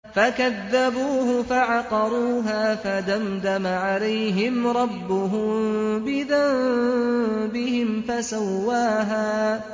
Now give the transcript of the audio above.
فَكَذَّبُوهُ فَعَقَرُوهَا فَدَمْدَمَ عَلَيْهِمْ رَبُّهُم بِذَنبِهِمْ فَسَوَّاهَا